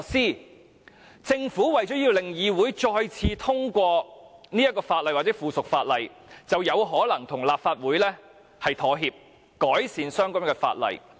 如政府要求議會再次通過這些法案或附屬法例，便可能要與立法會妥協，改善相關法案。